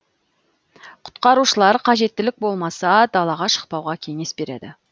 құтқарушылар қажеттілік болмаса далаға шықпауға кеңес береді